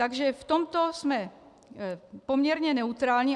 Takže v tomto jsme poměrně neutrální.